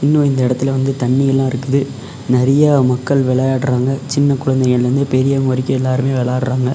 இன்னு இந்த இடத்தில வந்து தண்ணி எல்லா இருக்குது நறிய மக்கள் விளையாடுறாங்க சின்ன குழந்தைகள்லிருந்து பெரியவங்க வரைக்கு எல்லாருமே விளையாடுறாங்க.